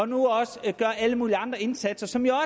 nu også gør alle mulige andre indsatser som jo